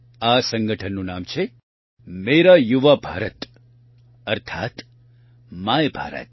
આ સંગઠનનું નામ છે મેરા યુવા ભારત અર્થાત્ માય ભારત